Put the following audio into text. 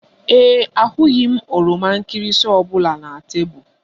Ee e, ahụghị m oroma nkịrịsị ọ bụla na tebụl